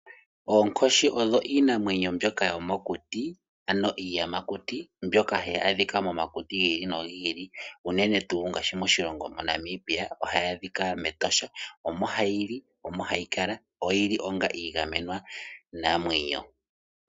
Oonkoshi odho iinamwenyo mbyoka yomokuti oyo iiyamakuti mbyoka hayi adhika momakuti gi ili nogi ili unene tuu ngashi moshilongo Namibia ohayi adhika mEtosha. Omo hayi li yo omo hayi kala oyili onga iigamenwa namwenyo.